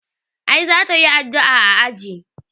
A'i za ta yi addu'a a aji.